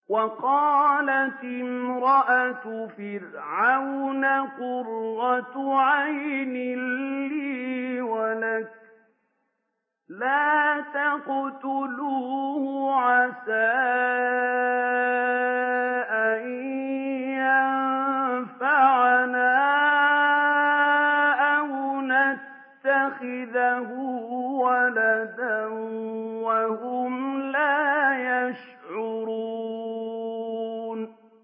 وَقَالَتِ امْرَأَتُ فِرْعَوْنَ قُرَّتُ عَيْنٍ لِّي وَلَكَ ۖ لَا تَقْتُلُوهُ عَسَىٰ أَن يَنفَعَنَا أَوْ نَتَّخِذَهُ وَلَدًا وَهُمْ لَا يَشْعُرُونَ